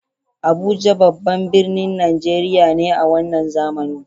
Abuja babban birnin Najeriya ne a wannan zamani.